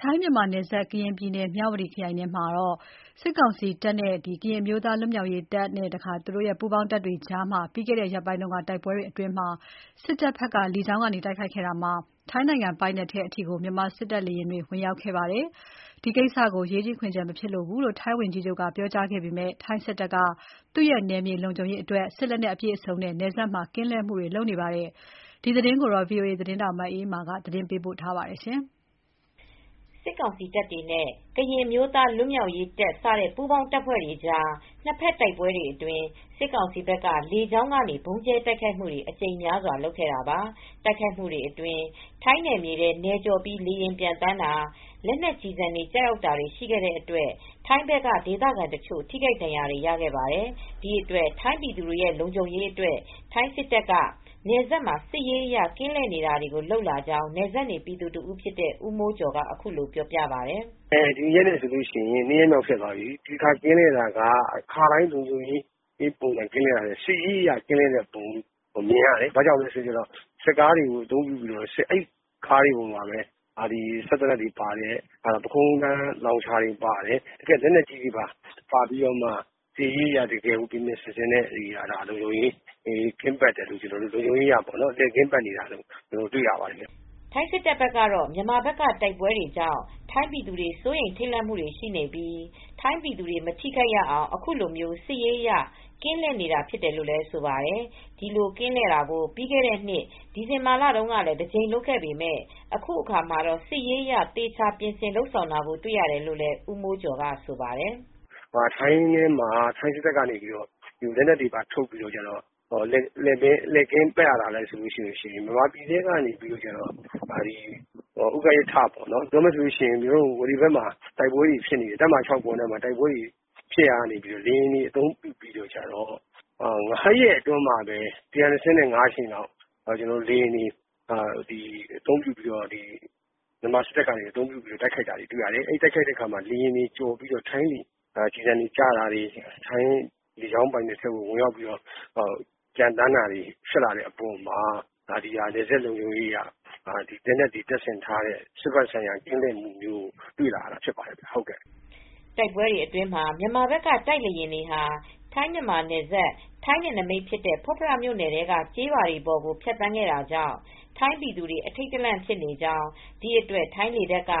ထိုင်းမြန်မာနယ်စပ် ကရင်ပြည်နယ်၊ မြဝတီခရိုင်ထဲမှာ စစ်ကောင်စီတပ်တွေနဲ့ ကရင်အမျိုးသားလွတ်မြောက်ရေးတပ် စတဲ့ပူးပေါင်းတပ်ဖွဲ့တွေကြား နှစ်ဖက်တိုက်ပွဲတွေအတွင်း လေကြောင်းကနေ တိုက်ခိုက်မူတွေဖြစ်ပွားပြီးတဲ့နောက် ထိုင်းနယ်မြေထဲကို မြန်မာစစ်တပ်က လေယာဉ်နယ်ကျော် ဝင်ရောက်လာခဲ့ပါတယ်။ ဒီအတွက် ထိုင်းစစ်တပ်က သူရဲ့နယ်မြေလုံခြုံရေးအတွက် စစ်လက်နက်အပြည့်အစုံနဲ့ နယ်စပ်မှာ ကင်းလှည့်မူတွေကို စတင်လုပ်ဆောင်နေပါတယ်။ ဒီသတင်းကို ဗွီအိုအေသတင်းထောက် မအေးအေးမာကသတင်း ပေးပို့ထားပါတယ်။ စစ်ကောင်စီတပ်တွေနဲ့ ကရင်အမျိုးသားလွတ်မြောက်ရေးတပ် စတဲ့ ပူးပေါင်းတပ်ဖွဲ့တွေကြား နှစ်ဖက် တိုက်ပွဲတွေအတွင်း စစ်ကောင်စီဘက်က လေကြောင်းကနေ ဗုံးကြဲတိုက်ခိုက်တွေ အကြိမ်များစွာလုပ်ခဲ့တာပါ။ တိုက်ခိုက်မူတွေအတွင်း ထိုင်းနယ်မြေထဲ နယ်ကျော်ပြီး လေယာဉ်ပျံသန်းတာ၊ လက်နက်ကျည်ဆံတွေကျရောက်တာတွေ ရှိခဲ့တဲ့အတွက် ထိုင်းဘက်က ဒေသခံတချို့ ထိခိုက်ဒဏ်ရာတွေ ရခဲ့ပါတယ်။ ဒီအတွက် ထိုင်းပြည်သူတွေ လုံခြုံရေးအတွက် ထိုင်းစစ်တပ်က နယ်စပ်မှ ာစစ်ရေးအရ ကင်းလှည့်တာတွေ လုပ်လာကြောင်း နယ်စပ်နေပြည်သူတဦးဖြစ်တဲ့ ဦးမိုးကျော်က အခုလိုပြောပါတယ်။ "ဒီရက်နဲ့ဆိုလို့ရှိရင်၂ရက်မြောက် ဖြစ်သွားပြီ။ ဒီတခါကင်းလှည့်တာက အခါတိုင်း လုံခြုံရေးကင်းလှည့်တာမျိုးမဟုတ်ဘူး။ စစ်ရေးအရ ကင်းလှည့်တဲ့ပုံစံမြင်ရတယ်။ ဘာကြောင့်လဲဆိုတော့ စစ်ကားတွေအသုံးပြုပြီး စစ်ကားတွေပေါ်မှာ စက်သေနတ်တွေပါတယ်၊ လက်နက်ကြီးတွေပါတယ်၊ ပခုံးထမ်းလောင်ချာတွေပါတယ်။စစ်ရေးအရလုံခြုံရေးအရ လှည့်ကင်းပတ်တာကို တွေ့ရတယ်။" ထိုင်းစစ်တပ်ဘက်ကတော့ မြန်မာဘက်က တိုက်ပွဲတွေကြောင့် ထိုင်းပြည်သူတွေ စိုးရိမ်ထိပ်လန့်မူတွေရှိနေပြီး ထိုင်းပြည်သူတွေ မထိခိုက်အောင် အခုလို စစ်ရေးအရ ကင်းလှည့်နေတာဖြစ်တယ်လို့ ဆိုပါတယ်။ ဒီလိုကင်းလှည့်တာကို ပြီးခဲ့တဲ့ နှစ်ဒီဇင်ဘာလတုန်းကလည်း တကြိမ်လုပ်ခဲ့ပေမယ့် အခုတခါမှာတော့ စစ်ရေးအရ သေချာ ပြင်ဆင်လုပ်ဆောင်တာကို တွေ့ရတယ်လို့လည်း ဦးမိုးကျော်က ဆိုပါတယ်။ "ထိုင်းစစ်တပ်က လက်နက်တွေထုတ်ပြီး လှည့်ကင်းပတ်ရတာလဲဆိုတော့ မြန်မာပြည်ထဲမှာ ဥကရစ်ထစခန်း၊ ဝေါလေဘက်မှာ တိုက်ပွဲတွေဖြစ်နေတယ်၊ လေကြောင်းကိုအသုံးပြုပြီး ၅ရက်အတွင်းမှာ မြန်မာစစ်တပ်က ၁၂၅ ကြိမ်လောက် လေကြာင်းအသုံးပြုပြီး တိုက်ခိုက်တာတွေ့ရတယ်။ အဲဒီလိုတိုက်ခိုက်ချိန်မှာ ထိုင်းပိုင်နက်ထဲကို လက်နက်ကျည်ဆံတွေကျတာတွေ၊ ထိုင်းလေကြောင်းပိုင်နက်ထဲကို ကျော်ပြီး လေယာဉ်တွေဝင်လာတာတွေ ဖြစ်လာတဲ့အပေါ်မှာ နယ်စပ်လုံခြုံရေးအရ လက်နက်တွေ တင်ဆင်ထားတဲ့ စစ်ဖက်ဆိုင်ရာ ကင်းလှည့်တာမျိုးတွေ တွေ့လာရတာဖြစ်ပါတယ်။" တိုက်ပွဲတွေအတွင်းမှာ မြန်မာဘက်က တိုက်လေယာဉ်တွေဟာ ထိုင်း မြန်မာနယ်စပ် ထိုင်းနယ်နမိတ်ဖြစ်တဲ့ ဖွတ်ဖရမြို့နယ်ထဲက ကျေးရွာပေါ်ကို ဖြတ်သန်းတာကြောင့် ထိုင်းပြည်သူတွေ အထိပ်တလန့်ဖြစ်နေ့ကြောင်း ဒီအတွက် ထိုင်းလေတပ်က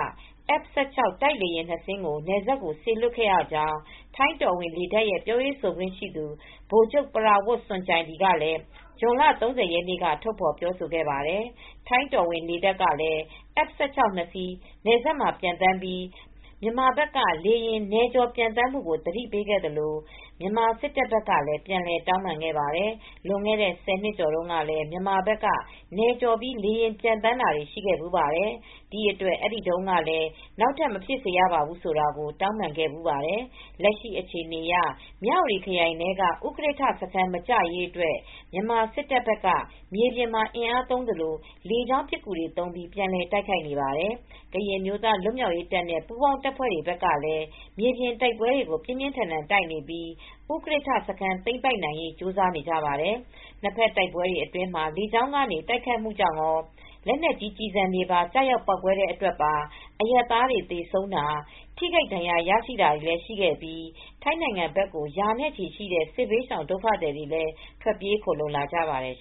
F16 တိုက်လေယာဉ် နှစ်စင်းကို နယ်စပ်ကို စေလွှတ်ခဲ့ရကြောင်း ထိုင်းတော်ဝင်လေတပ်ရဲ့ပြောရေးဆိုခွင့်ရှိသူ ဗိုလ်ချုပ် ပရာဝတ် စွန်ကျိုင်ဒီကလည်း ဇွန်လ ၃၀ ရက်နေ့က ထုတ်ဖော်ပြောဆိုခဲ့ပါတယ်။ ထိုင်တော်ဝင်လေတပ်ကလည်း F 16 ၂ စီးနယ်စပ်မှာပျံသန်းပြီး မြန်မာဘက်က လေယာဉ်နယ်ကျော်ပျံသန်းမူ့ကို သတိပေးခဲ့သလို မြန်မာစစ်တပ်ဘက်ကလည်း ပြန်လည်တောင်းပန်ခဲ့ပါတယ်။ လွန်ခဲ့တဲ့ ၁၀နှစ်ကျော်တုန်းကလည်း မြန်မာဘက်က နယ်ကျော်ပြီးလေယာဉ်ပျံသန်းတာတွေ ရှိခဲ့ဘူးပါတယ်။ ဒီအတွက် အဲဒီတုန်းကလည်း နောက်ထပ်မဖြစ်စေရဘူးဆိုတာကို တောင်းပန်ခဲ့ဘူးပါတယ်။ လက်ရှိအခြေအနေအရ မြဝတီခရိုင်ထဲက ဥကရစ်ထစခန်း မကျရေးအတွက် မြန်မာစစ်တပ်ဘက်က မြေပြင်မှာ အင်းအားသုံးသလို လေကြောင်းပစ်ကူတွေသုံးပြီး ပြန်လည် တိုက်ခိုက်နေပါတယ်။ ကရင်အမျိုးသားလွတ်မြောက်ရေးတပ်နဲ့ပူးပေါင်းတပ်ဖွဲ့တွေဘက်ကလည်း မြေပြင်တိုက်ပွဲတွေကို ပြင်ပြင်းထန်ထန် တိုက်နေပြီး ဥကရစ်ထ စခန်းသိမ်းပိုက်နိုင်ရေးကြိုးစားနေကြပါတယ်။ နှစ်ဖက်တိုက်ပွဲတွေအတွင်းမှာ လေကြောင်းကနေ တိုက်ခိုက်တာကြောင့်ကော၊ လက်နက်ကြီးကျည်ဆံတွေပါ ကျရောက်ပေါက်ကွဲတဲ့အတွက်ပါ အရပ်သားတွေ သေဆုံးတာ၊ ထိခိုက်ဒဏ်ရာရတာတွေလည်း ရှိခဲ့ပြီး ထိုင်းနိုင်ငံဘက်ကို ရာနဲ့ချီရှိတဲ့ စစ်ဘေးရှောင်ဒုက္ခသည်တွေ ထွက်ပြေး ခိုလှုံလာကြပါတယ်